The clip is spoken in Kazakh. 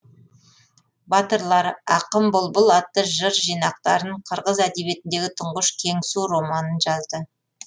батырлар ақын бұлбұл атты жыр жинақтарын қырғыз әдебиетіндегі тұңғыш кеңсу романын жазды